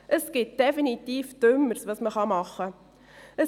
Es gibt definitiv Dümmeres, das man machen kann.